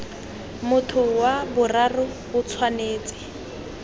motho wa boraro o tshwanetse